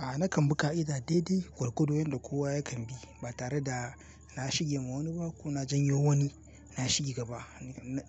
A'a nakan bi ka'ida, daidai gwargwadon yadda kowa yakan bi, ba tare da na shige ma wani ba, ko na janyo wani, na shige gaba.